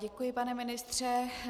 Děkuji, pane ministře.